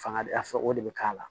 Fanga a fɛ o de bɛ k'a la